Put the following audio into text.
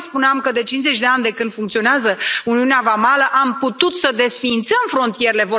Tocmai spuneam că, de cincizeci de ani, de când funcționează uniunea vamală, am putut să desființăm frontierele.